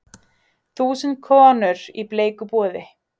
Þúsund konur í bleiku boði